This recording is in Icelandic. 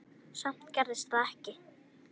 Samt gerðist það ekki.